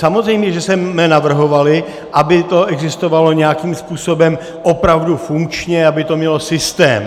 Samozřejmě že jsme navrhovali, aby to existovalo nějakým způsobem opravdu funkčně, aby to mělo systém.